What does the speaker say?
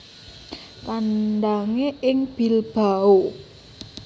Kandhangé ing Bilbao